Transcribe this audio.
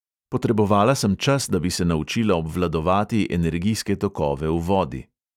"Potrebovala sem čas, da bi se naučila obvladovati energijske tokove v vodi."